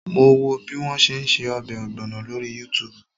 Mo wo bí wọ́n ṣe ń ṣe ọbẹ̀ ọ̀gbọ̀nọ̀ lórí Yútùùbù